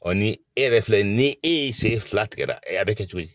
Bɔ ni e yɛrɛ filɛ ni e ye sen fila tigɛra, e b'a kɛ cogo di?